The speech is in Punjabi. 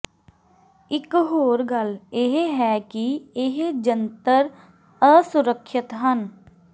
ਇਕ ਹੋਰ ਗੱਲ ਇਹ ਹੈ ਕਿ ਇਹ ਜੰਤਰ ਅਸੁਰੱਖਿਅਤ ਹਨ